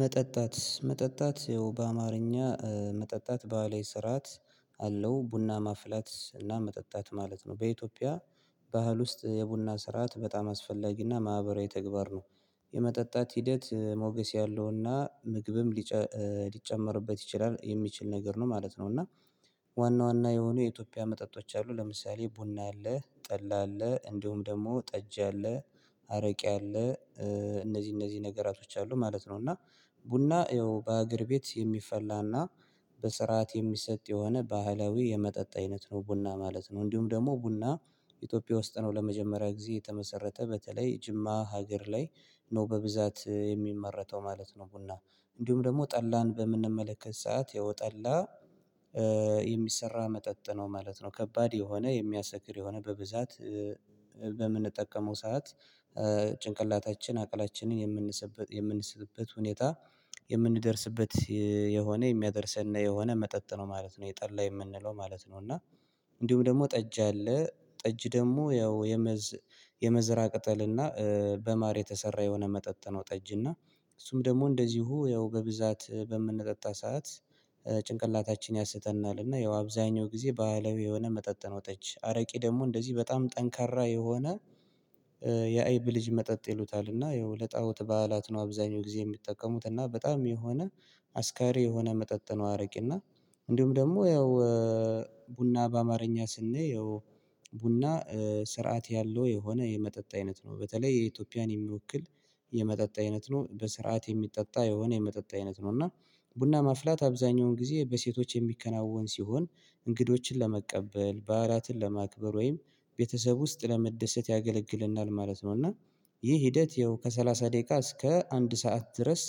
መጠጣት መጠጣት በአማርኛ መጠጣት ባለ ስርዓት አለው ቡና ማፍላት እና መጠጣት ማለት ነው። በኢትዮጵያ ባህል ውስጥ የቡና ስርዓት በጣም አስፈላጊ እና ማህበራዊ ተግባር ነው። የመጠጣት ሂደት ሞገስ ያለውና ምግብም ሊጨመርበት ይችላል የሚችል ነገር ነው ማለት ነው። እና ዋና ዋና የሆኑ የኢትዮጵያ መጠጦች አሉ ለምሳሌ ቡና አለ ጠላ አለ እንዲሁም ደግሞ ጠጅ አለ አረቄ አለ። እነዚህ እነዚህ ነገራቶች አሉ ማለት ነው። እና ቡና ያው በአገር ቤት የሚፈላና በስርዓት የሚሰጥ የሆነ ባህላዊ የመጠጥ አይነት ነው ቡና ማለት ነው። እንዲሁም ደግሞ ቡና ኢትዮጵያ ውስጥ ነው ለመጀመሪያ ጊዜ የተመሰረተ በተለይ ጅማ ሀገር ላይ ነው በብዛት የሚመረተው ማለት ነው። ቡና እንዲሁም ደግሞ ጠላን በምንመለከት ሰዓት የወጠላ የሚሰራ መጠጥ ነው ማለት ነው። ከባድ የሆነ የሚያሰክር የሆነ በብዛት በምንጠቀመው ሰዓት ጭንቅላታችን አቅላችንን የምንሰበት የምንስትበት ሁኔታ የምንደርስበት የሆነ የሚያደርሰን የሆነ መጠጥ ነው ማለት ነው። ይህ ጠላ የምንለው ማለት ነው። እና እንዲሁም ደግሞ ጠጅ አለ ጠጅ ደግሞ ያው የመዝ የመዝራ ቅጠል እና በማር የተሰራ የሆነ መጠጥ ነው። ጠጅና እሱም ደግሞ እንደዚሁ ያው በብዛት በምንጠጣ ሰዓት ጭንቅላታችን ያስተናልና ያው አብዛኛው ጊዜ ባህላዊ የሆነ መጠጥ ነው። ጠጅ አረቄ ደግሞ እንደዚህ በጣም ጠንካራ የሆነ የአይብ ልጅ መጠጥ ይሉታል። እና ይኸው ለጣኦት በዓላት ነው አብዛኛው ጊዜ የሚጠቀሙት እና በጣም የሆነ አስካሪ የሆነ መጠጥ ነው። አረቄ እና እንዲሁም ደግሞ ያው ቡና በአማርኛ ስንየው ቡና ስርዓት ያለው የሆነ የመጠጥ አይነት ነው በተለይ የኢትዮጵያን የሚወክል የመጠጥ አይነት ነው በስርዓት የሚጠጣ የሆነ የመጠጥ አይነት ነው። እና ቡና ማፍላት አብዛኛውን ጊዜ በሴቶች የሚከናወን ሲሆን እንግዶችን ለመቀበል በዓላትን ለማክበር ወይም ቤተሰብ ውስጥ ለመደሰት ያገለግልናል ማለት ነው። እና ይህ ሂደት ያው ከሠላሳ ደቂቃ እስከ አንድ ሰዓት ድረስ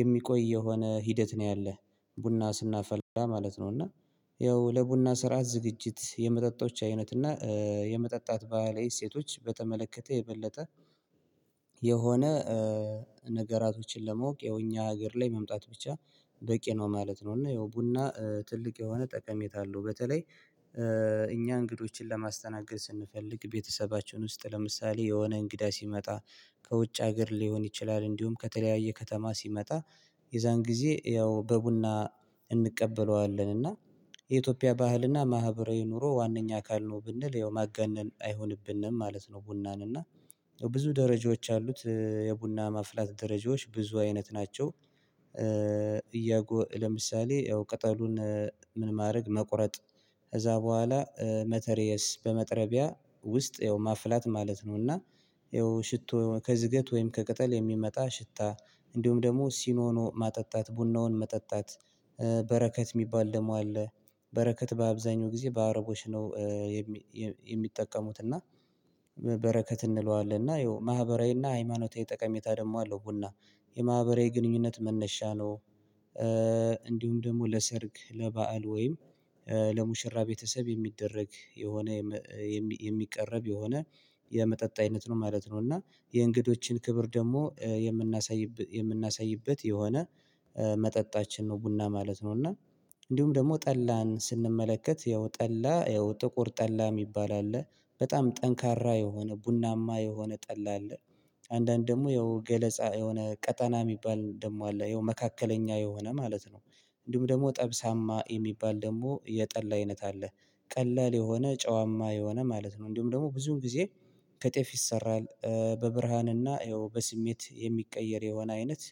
የሚቆይ የሆነ ሂደት ነው ያለህ ቡና ስናፈላ ማለት ነው። እና ይኸው ለቡና ስራ ዝግጅት የመጠጦች አይነት እና የመጠጣት ባህላዊ እሴቶች በተመለከተ የበለጠ የሆነ ነገራቶችን ለማወቅ ያው እኛ ሀገር ላይ መምጣት ብቻ በቂ ነው ማለት ነው። እና ይኸው ቡና ትልቅ የሆነ ጠቀሜታ አለው። በተለይ እኛ እንግዶችን ለማስተናገድ ስንፈልግ ቤተሰባችን ውስጥ ለምሳሌ የሆነ እንግዳ ሲመጣ ከውጭ ሀገር ሊሆን ይችላል እንዲሁም ከተለያየ ከተማ ሲመጣ የዛን ጊዜ ያው በቡና እንቀበለዋለን እና የኢትዮጵያ ባህልና ማህበራዊ ኑሮ ዋነኛ አካል ነው ብንል ያው ማጋነን አይሆንብንም ማለት ነው። ቡናን እና ብዙ ደረጃዎች አሉት የቡና መፍላት ደረጃዎች ብዙ አይነት ናቸው። እያጎ ለምሳሌ ያው ቅጠሉን ምን ማድረግ መቁረጥ ከዛ በኋላ መተርየስ በመጥረቢያ ውስጥ ያው ማፍላት ማለት ነው። እና ይኸው ሽቶ ከዝገት ወይም ከቅጠል የሚመጣ ሽታ እንዲሁም ደግሞ ሲኖኖ ማጠጣት ቡናውን መጠጣት በረከት የሚባል ደግሞ አለ። በረከት በአብዛኛው ጊዜ በአረቦች ነው የሚጠቀሙት እና በረከት እንለዋለን። እና ይኸው ማህበራዊና ሃይማኖታዊ ጠቀሜታ ደግሞ አለው ቡና የማህበራዊ ግንኙነት መነሻ ነው። እንዲሁም ደግሞ ለሰርግ ለባአል ወይም ለሙሽራ ቤተሰብ የሚደረግ የሆነ የሚቀረብ የሆነ የመጠጥ አይነት ነው ማለት ነው። እና የእንግዶችን ክብር ደግሞ የምናሳይበት የምናሳይበት የሆነ መጠጣችን ነው ቡና ማለት ነው። እና እንዲሁም ደግሞ ጠላን ስንመለከት ያው ያው ጥቁር ጠላ የሚባል አለ በጣም ጠንካራ የሆነ ቡናማ የሆነ ጠላ አለ። አንዳንድ ደግሞ ይኸው ገለጻ የሆነ ቀጠና የሚባል ደግሞ አለ ይኸው መካከለኛ የሆነ ማለት ነው እንዲሁም ደግሞ ጠብሳማ የሚባል ደግሞ የጠላ አይነት አለ። ቀላል የሆነ ጨዋማ የሆነ ማለት ነው እንዲሁም ደግሞ ብዙም ጊዜ ከጤፍ ይሰራል በብርሃንና ይኸው በስሜት የሚቀየር የሆነ አይነት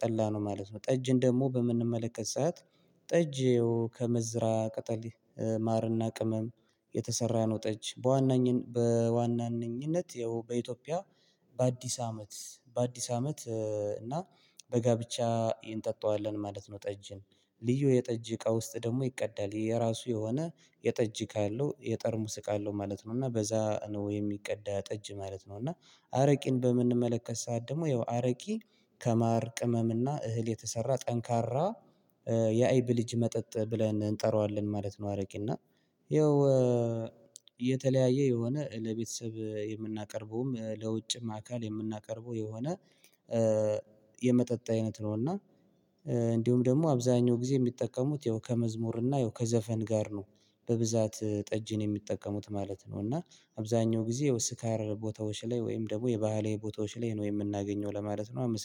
ጠላነው ማለት ነው። ጠጅን ደግሞ በምንመለከት ሰዓት ጠጅ ያው ከመዝራ ቅጠል ማርና ቅመም የተሰራ ነውጠጅ በዋናኝ በዋናኝነት ይኸው በኢትዮጵያ በአዲስ አመት በአዲስ አመት እና በጋብቻ እንጠጣዋለን ማለት ነው። ጠጅን ልዩ የጠጅ እቃ ውስጥ ደግሞ ይቀዳል የራሱ የሆነ የጠጅ እቃ አለው የጠርሙስ እቃ አለው ማለት ነው። እና በዛ ነው የሚቀዳ ጠጅ ማለት ነው። እና አረቄን በምንመለከት ሰዓት ደግሞ ያው አረቄ ከማር ቅመም እና እህል የተሰራ ጠንካራ የአይብ ልጅ መጠጥ ብለን እንጠራዋለን ማለት ነው። አረቄ እና ይኸው የተለያየ የሆነ ለቤተሰብ የምናቀርበውም ለውጭም አካል የምናቀርበው የሆነ የመጠጥ አይነት ነው። እና እንዲሁም ደግሞ አብዛኛው ጊዜ የሚጠቀሙት ያው ከመዝሙር እና ያው ከዘፈን ጋር ነው በብዛት ጠጅን የሚጠቀሙት ማለት ነው። እና አብዛኛው ጊዜ ያው ስካር ቦታዎች ላይ ወይም ደግሞ የባህላዊ ቦታዎች ላይ ነው የምናገኘው ለማለት ነው